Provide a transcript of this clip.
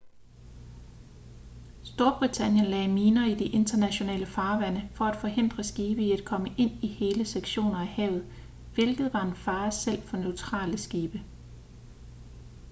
storbritannien lagde miner i de internationale farvande for at forhindre skibe i at komme ind i hele sektioner af havet hvilket var en fare selv for neutrale skibe